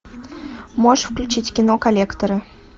можешь включить кино коллекторы